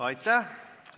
Aitäh!